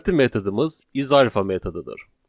Növbəti metodumuz is alpha metodudur.